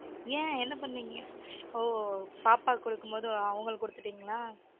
ஏன் என்ன பண்ணிங்க? ஓ பாப்பாக்கு கொடுக்கும்போது அவங்களுக்கு கொடுத்துட்டீங்களா?